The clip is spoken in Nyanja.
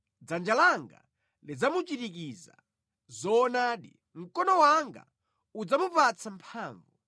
Dzanja langa lidzamuchirikiza; zoonadi, mkono wanga udzamupatsa mphamvu.